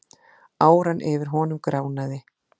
Áran yfir honum gránaði.